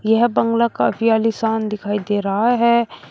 यह बंगला काफी आलीशान दिखाई दे रहा है।